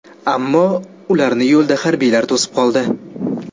Ammo ularni yo‘lda harbiylar to‘sib qoldi.